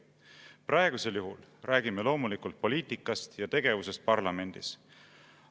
Praegusel juhul räägime loomulikult poliitikast ja tegevusest parlamendis.